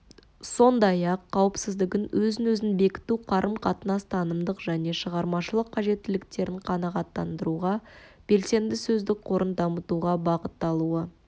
сондайақ қауіпсіздігін өзін-өзі бекіту қарым-қатынас танымдық және шығармашылық қажеттіліктерін қанағаттандыруға белсенді сөздік қорын дамытуға бағытталуы